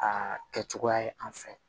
Aa kɛ cogoya ye an fɛ